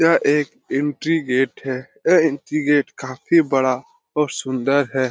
यह एक entry gate है एह एंट्री गेट काफी बड़ा और सुंदर है|